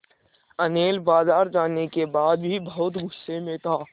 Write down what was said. अनिल बाज़ार जाने के बाद भी बहुत गु़स्से में था